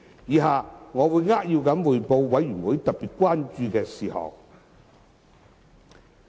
以下我會扼要匯報法案委員會特別關注的事項。